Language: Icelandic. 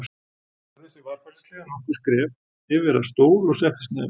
Hann færði sig varfærnislega nokkur skref yfir að stól og settist niður.